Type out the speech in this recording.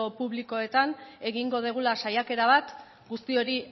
publikoetan egingo dugula saiakera bat guzti hori